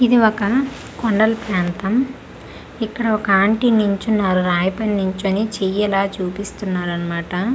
ఇది ఒక కొండల ప్రాంతం ఇక్కడ ఒక ఆంటీ నిల్చున్నారు రాయి పై నిల్చొని చేయి ఇలా చూపిస్తున్నారు అన్నమాట .]